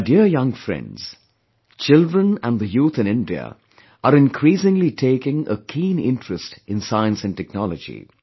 My dear young friends, children & the youth in India are increasingly taking a keen interest in Science & Technology